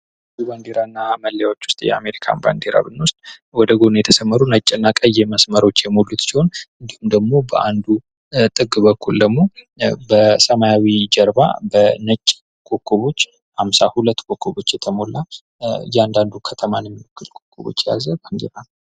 ከባንዲራና መለያዎች ውስጥ የአሜሪካን ባንዲራ ብንወስድ ወደጎን የተሰማሩ ነጭና ቀይ መስመሮች የሞት ሲሆን በሰማያዊ ጀርባ ነጭ ኮከቦች አምሳ ሁለት የተሞላ እያንዳንዱ ከተማን የሚያክል ኮከቦች የያዘ ባንዲራ ነው።